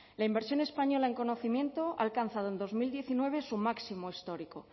la inversión española en conocimiento ha alcanzado en dos mil diecinueve su máximo histórico